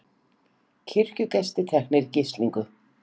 Kirkjugestir teknir í gíslingu